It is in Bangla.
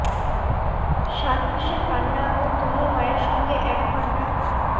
সাত মাসের কান্না ও তনুর মায়ের সঙ্গে এক ঘণ্টা